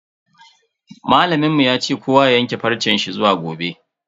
Malamin mu ya ce kowa ya yanke farce shi zuwa gobe.